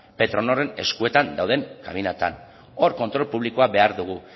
petronorren eskuetan kabinetan hor kontrol publikoa behar dugu